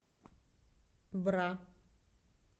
бра